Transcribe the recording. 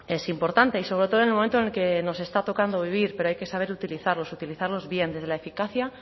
es importante y sobre todo en el momento en el que nos está tocando vivir pero hay que saber utilizarlos utilizarlos bien desde la eficacia